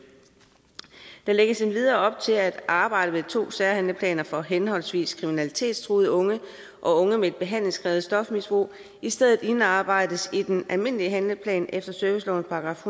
der lægges endvidere op til at arbejdet med to særhandleplaner for henholdsvis kriminalitetstruede unge og unge med et behandlingskrævende stofmisbrug i stedet indarbejdes i den almindelige handleplan efter servicelovens §